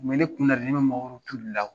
A kun bɛ ne kun na ne bɛ mangorotu de la.